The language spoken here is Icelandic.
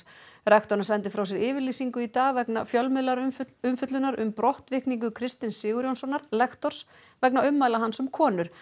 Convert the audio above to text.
rektorinn sendi frá sér yfirlýsingu í dag vegna fjölmiðlaumfjöllunar um brottvikningu Kristins Sigurjónssonar lektors vegna ummæla hans um konur